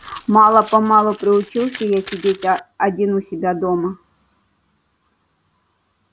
мало-помалу приучился я сидеть один у себя дома